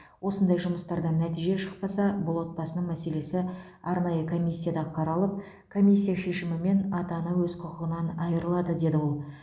осындай жұмыстардан нәтиже шықпаса бұл отбасының мәселесі арнайы комиссияда қаралып комиссия шешімімен ата ана өз құқығынан айырылады деді ол